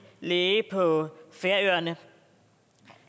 læge på færøerne